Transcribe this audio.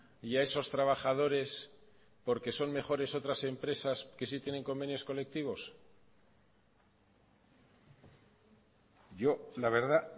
y a esos trabajadores porque son mejores otras empresas que sí tienen convenios colectivos yo la verdad